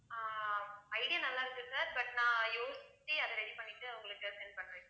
ஆஹ் idea நல்லா இருக்கு sir, but நான் யோசிச்சு அதை ready பண்ணிட்டு உங்களுக்கு send பண்றேன்.